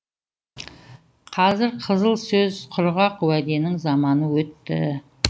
қазір қызыл сөз құрғақ уәденің заманы өтті